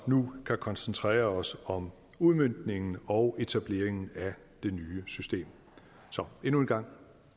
nu kan koncentrere os om udmøntningen og etableringen af det nye system så endnu en gang